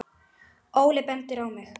Óli bendir á mig